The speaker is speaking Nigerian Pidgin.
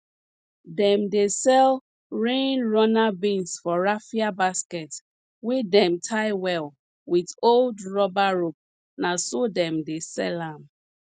dem dey sell rain runner beans for raffia basket wey dem tie well wit old rubber rope na so dem dey sell am